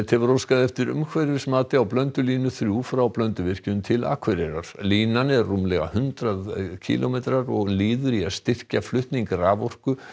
hefur óskað eftir umhverfismati á Blöndulínu þrír frá Blönduvirkjun til Akureyrar línan er rúmlega hundrað kílómetrar og liður í að styrkja flutning raforku